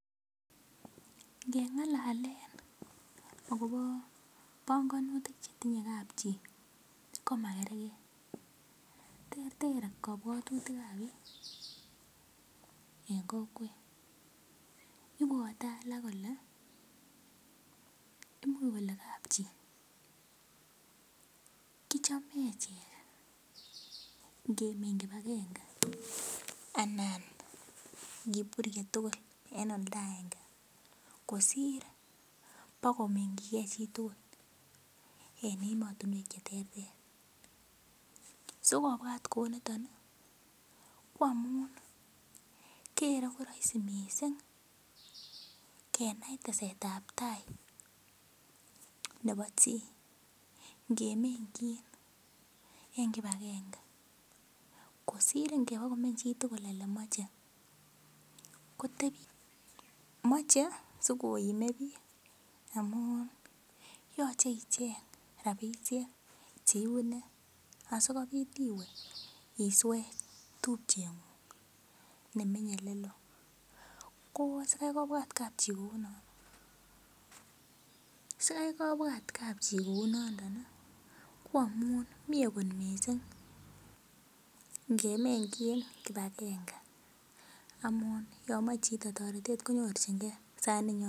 Ngelalee akopo pongonutik chetinyei kap chii koma kerkei ter ter kobwotutik ap biik eng kokwet ibwotei alak kole imuch kole kap chii kichome achek ngemeny kibakenge anan ngepurye tugul en oldo aenge kosir pokominjikei chitugul en ematunwek che terter sikopwat kou niton koamun kerei ko raisi mising kenai teset ap tai nebo chii ngemenjin eng kibakenge kosir ibakeba komeny chitugul olemachei ko mochei siko ime biik amuyochei icheng' ropisiek cheibune asikopit iwe iswe tupchengung nemenyei oleloo kosikoi kobwat kapchii kounoto koamun mi akot mising ngemenjin kibakenge amun yomochei chito toretet konyorchingei sait noton